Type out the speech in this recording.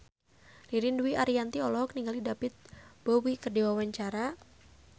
Ririn Dwi Ariyanti olohok ningali David Bowie keur diwawancara